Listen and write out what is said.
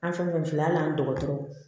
An fɛn fɛn filɛ al'an dɔgɔtɔrɔw